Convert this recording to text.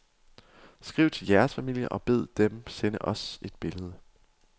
Skriv til jeres familier og bed dem sende os et billede.